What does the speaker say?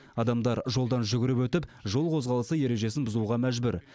адамдар жолдан жүгіріп өтіп жол қозғалысы ережесін бұзуға мәжбүр